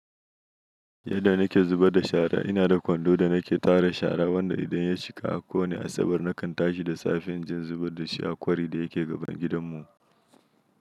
Yadda na ke zubar da shara ina da kwando da na ke tara shara wanda idan ya cika a ƙone asabar na kan tashi da safen inje in zubar da shi a kwari da ya ke gaban gidan mu.